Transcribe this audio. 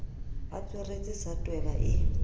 a tsweretse sa tweba e